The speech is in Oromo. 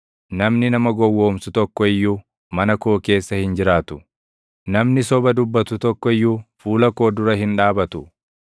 Namni nama gowwoomsu tokko iyyuu mana koo keessa hin jiraatu; namni soba dubbatu tokko iyyuu fuula koo dura hin dhaabatu.